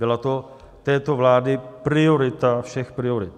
Byla to této vlády priorita všech priorit.